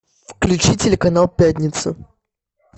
включи телеканал пятница